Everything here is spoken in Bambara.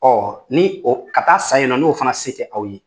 ni o ka taa san yen nɔ n'o fana se tɛ aw ye.